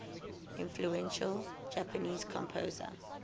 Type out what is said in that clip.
influential japanese composer